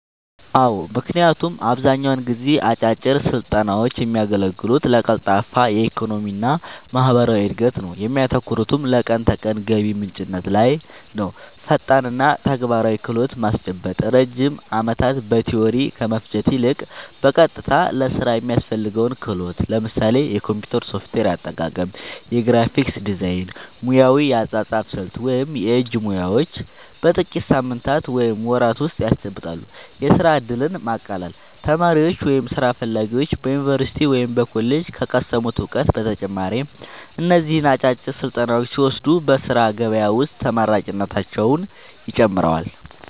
አዎ ምክንያቱም አብዛኛውን ጊዜ አጫጭር ስልጠናውች የሚያገለግሉት ለቀልጣፋ የኢኮኖሚና ማህበራዊ እድገት ነው እሚያተኩሩትም ለቀን ተቀን ገቢ ምንጭነት ላይ ነውፈጣንና ተግባራዊ ክህሎት ማስጨበጥ ረጅም ዓመታት በቲዎሪ ከመፍጀት ይልቅ፣ በቀጥታ ለሥራ የሚያስፈልገውን ክህሎት (ለምሳሌ የኮምፒውተር ሶፍትዌር አጠቃቀም፣ የግራፊክስ ዲዛይን፣ ሙያዊ የአጻጻፍ ስልት ወይም የእጅ ሙያዎች) በጥቂት ሳምንታት ወይም ወራት ውስጥ ያስጨብጣሉ። የሥራ ዕድልን ማቃለል : ተማሪዎች ወይም ሥራ ፈላጊዎች በዩኒቨርሲቲ ወይም በኮሌጅ ከቀሰሙት እውቀት በተጨማሪ እነዚህን አጫጭር ስልጠናዎች ሲወስዱ በሥራ ገበያ ውስጥ ተመራጭነታቸውን ይጨምረዋል።